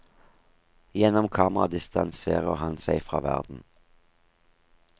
Gjennom kameraet distanserer han seg fra verden.